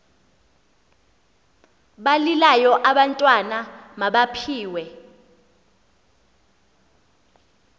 balilayo abantwana mabaphiwe